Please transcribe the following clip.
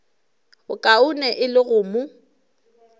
bokaone e le go mo